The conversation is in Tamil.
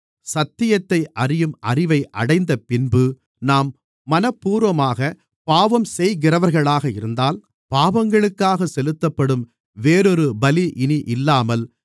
சத்தியத்தை அறியும் அறிவை அடைந்தபின்பு நாம் மனப்பூர்வமாகப் பாவம் செய்கிறவர்களாக இருந்தால் பாவங்களுக்காக செலுத்தப்படும் வேறொரு பலி இனி இல்லாமல்